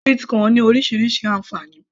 sweet corn ní orísirísi ànfàní